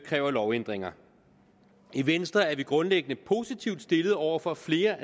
kræver lovændringer i venstre er vi grundlæggende positivt stillede over for flere